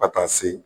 Ka taa se